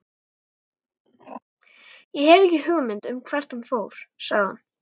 Ég hef ekki hugmynd um hvert hún fór, sagði hann.